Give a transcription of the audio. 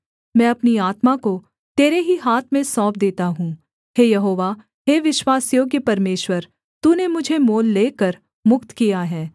मैं अपनी आत्मा को तेरे ही हाथ में सौंप देता हूँ हे यहोवा हे विश्वासयोग्य परमेश्वर तूने मुझे मोल लेकर मुक्त किया है